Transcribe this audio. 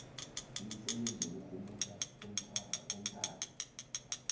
imisebenzi yokurhumutjha ngomtato